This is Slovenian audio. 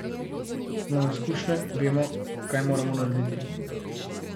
Imamo izkušnje, vemo, kaj moramo narediti.